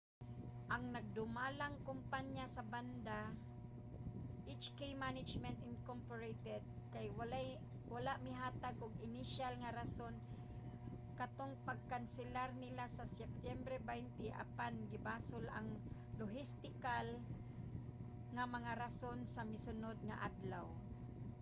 ang nagdumalang kompanya sa banda hk management inc. kay wala mihatag og inisyal nga rason katong pagkanselar nila sa septyembre 20 apan gibasol ang lohistikal nga mga rason sa misunod nga adlaw